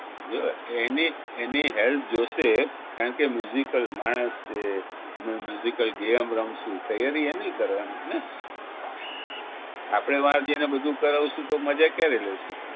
જો એની એની help જોશે કારણ કે al માણસ છે અને al game રમશું તૈયારી એનીય કરવાનીને આપણે વા જઈને બધું કરાવશું તો મજા ક્યારે લેશું